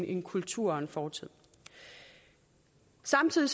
en kultur og en fortid samtidig